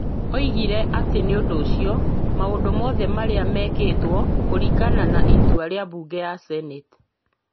Oigire atĩ nĩ ũndũ ũcio, maũndũ mothe marĩa mekĩtwo kũringana na itua rĩa mbunge ya seneti,